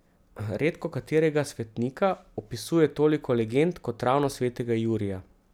Redkokaterega svetnika opisuje toliko legend kot ravno svetega Jurija.